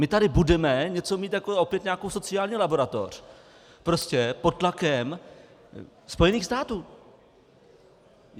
My tady budeme něco mít jako opět nějakou sociální laboratoř, prostě pod tlakem Spojených států.